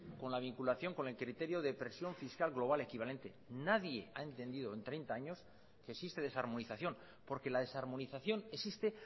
con la vinculación con el criterio de presión fiscal global equivalente nadie ha entendido en treinta años que existe desarmonización porque la desarmonización existe